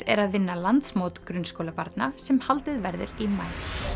er að vinna landsmót grunnskólabarna sem haldið verður í maí